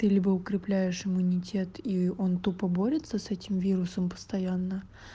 ты либо укрепляешь иммунитет и он тупо борется с этим вирусом постоянно